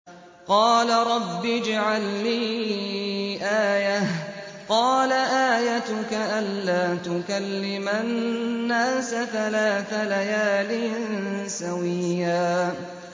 قَالَ رَبِّ اجْعَل لِّي آيَةً ۚ قَالَ آيَتُكَ أَلَّا تُكَلِّمَ النَّاسَ ثَلَاثَ لَيَالٍ سَوِيًّا